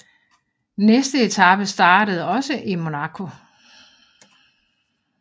Næste etape startede også i Monaco